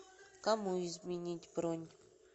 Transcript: кому изменить бронь